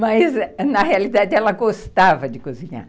Mas, na realidade, ela gostava de cozinhar.